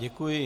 Děkuji.